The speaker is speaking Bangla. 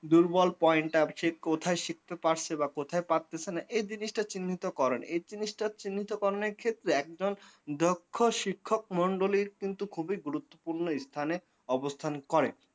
দুর্বল point টা যে কোথায় শিখতে পারছে না কোথায় শিখতে পারতেছেনা এ জিনিসটা চিহ্নিত করেন, এই জিনিসটা চিহ্নিত করণের ক্ষেত্রে একজন দক্ষ শিক্ষক মন্ডলীর কিন্তু খুবই গুরুত্বপূর্ণ স্থানে অবস্থান করেন।